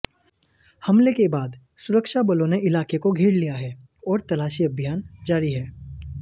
हमले के बाद सुरक्षाबलों ने इलाके को घेर लिया है और तलाशी अभियान जारी है